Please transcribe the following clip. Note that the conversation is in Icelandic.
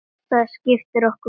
Það skiptir okkur máli.